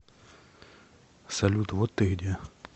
салют вот ты где